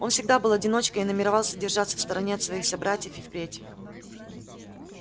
он всегда был одиночкой и намеревался держаться в стороне от своих собратьев и впредь